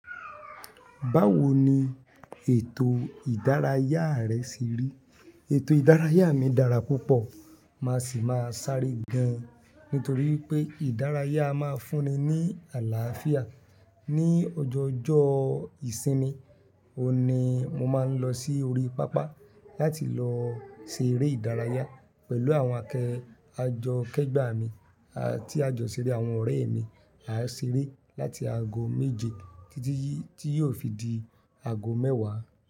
Báwo ni ètò ìdárayá rẹ ṣe rí? Ètò ìdárayá mi dára púpọ̀, màá sì máa sáré gaan, nítorí pé ìdárayá a máa fún ni ní àlàáfíà. Ni ojoojọ́ ìsinmi, òun ní mo máa ń lọ sí orí pápá láti lọ ṣe eré ìdárayá pẹ̀lú àwọn akẹ́ẹ ajọ kẹgbà mi tí a jọ ṣeré àwọn ọ̀rẹ́ mi. A ṣeré láti ago méje títí tí yóò fi di ago mẹ́wàá.